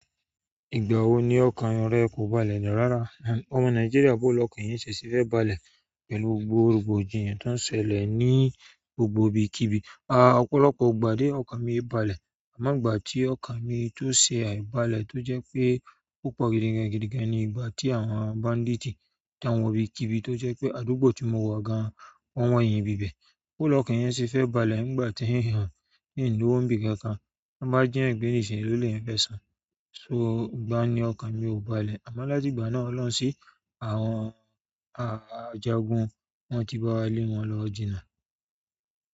Ìgbà wo ni ọkàn rẹ kò balẹ̀ ní ràárà? Ọmọ Nàìjíríà bóló ọkàn eyan si ẹ se fẹ balẹ̀ pẹ̀lú gbogbo rògbòdìyàn tó ń ṣẹlẹ̀ ní gbogbo ibikíbi. A, ọ̀pọ̀lọpọ̀ gbà dé ọkàn mi balẹ̀ àmọ́ ìgbà tí ọkàn mi tó ṣẹ àìbalẹ̀ tó jẹ́ pé ó pọ̀ gidigan gidigan ni ìgbà tí àwọn banditì tan wọ ibikíbi tó jẹ́ pé àdúgbò tí mo wọ̀ gan wọ́n wọ̀nyìn ibi ibẹ̀. Bo lọ ọkàn eyan ṣe fẹ́ balẹ̀ nígbà tí èèyàn in lówó ǹbì kankan, tan bá ji eyan gbe nísi elo leyan fẹ́ san. So ìgbà ni ọkà mi ò balẹ̀ àmọ́ láti ìgbà náà olohun sí àwọn ajagun wọ́n ti bá wa lé wọn lọ jìnà.